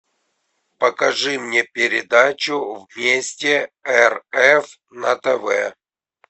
покажи мне передачу вместе рф на тв